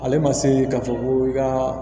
Ale ma se k'a fɔ ko i ka